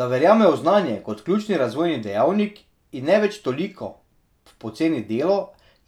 Da verjamejo v znanje kot ključni razvojni dejavnik, in ne več toliko v poceni delo,